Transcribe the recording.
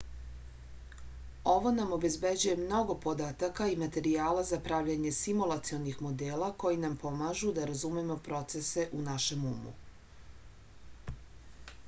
ovo nam obezbeđuje mnogo podataka i materijala za pravljenje simulacionih modela koji nam pomažu da razumemo procese u našem umu